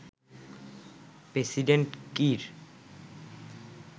president Kiir